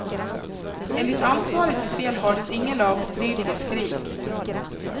Enligt ansvarigt befäl hördes inga lagstridiga skrik.